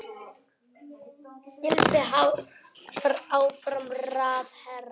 Gylfi áfram ráðherra